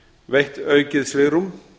veitt aukið svigrúm